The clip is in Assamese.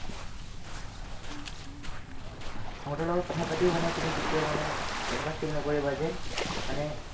আহ্, সিহঁতৰ লগত কথাপাতিও মানে তুমি কেতিয়াও মানে এনেকুৱা feel নকৰিবা যে মানে